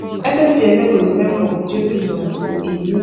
emefiele go remain for kuje prison until im meet.